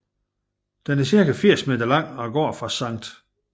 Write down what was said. Den er cirka 80 meter lang og går fra Sct